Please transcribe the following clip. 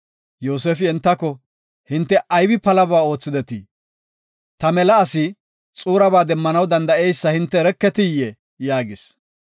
Yoosefi entako, “Hinte aybi palaba oothidetii? Ta mela asi xuuraba demmanaw danda7eysa hinte ereketiyee?” yaagis.